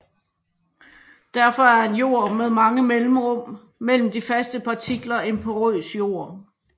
Derfor er en jord med mange mellemrum mellem de faste partikler en porøs jord